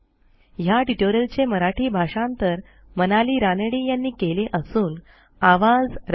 ह्या ट्युटोरियलचे मराठी भाषांतर मनाली रानडे यांनी केलेले असून आवाज